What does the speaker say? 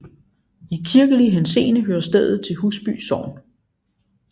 I kirkelig henseende hører stedet til Husby Sogn